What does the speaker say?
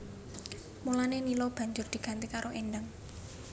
Mulané Nila banjur diganti karo Endang